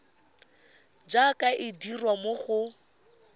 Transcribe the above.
jaaka e dirwa mo go